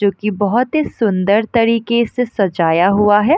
जो की बहोत ही सुन्दर तरीके से सजाया हुआ है।